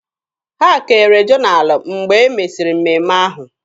Ha kere jonalụ mgbe e mesịrị mmemme ahụ.